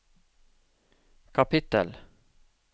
kapittel